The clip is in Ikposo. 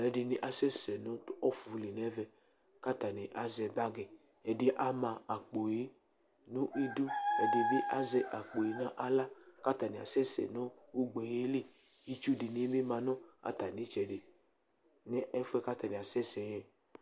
Ɛdini asɛsɛ nʋ ɔfʋli n'ɛvɛk'atani azɛ bagi, ɛdi yɛ ama akpo yɛ nʋ idu, ɛdi bi azɛ akpo yɛ n'aɣla k'atani asɛsɛ nʋ ugbe yɛ li Itsu di ni bi ma nʋ atami itsɛdi n'ɛfʋ yɛ atani asɛsɛ yɛ